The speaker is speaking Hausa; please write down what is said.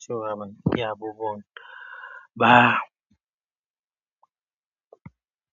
ciwa banƙiya abubuwan ba.